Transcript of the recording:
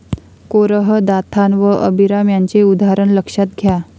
कोरह, Dathan व Abiram यांचे उदाहरण लक्षात घ्या.